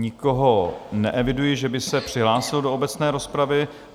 Nikoho neeviduji, že by se přihlásil do obecné rozpravy.